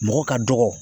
Mɔgɔ ka dɔgɔ